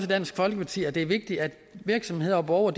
i dansk folkeparti at det er vigtigt at virksomheder og borgere